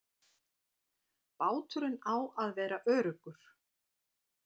Báturinn á að vera öruggur.